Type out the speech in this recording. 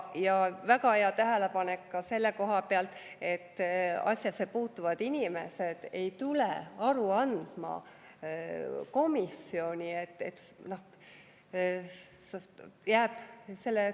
Ja väga hea tähelepanek ka selle koha pealt, et asjasse puutuvad inimesed ei tule komisjoni aru andma.